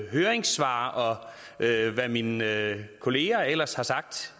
høringssvar og hvad mine kolleger ellers har sagt